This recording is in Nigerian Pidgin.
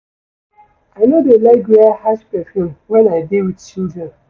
I no dey like wear harsh perfume wen I dey wit children.